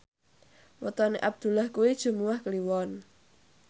wetone Abdullah kuwi Jumuwah Kliwon